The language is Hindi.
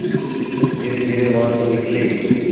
शिक्षक धीरेधीरे वहाँ से निकले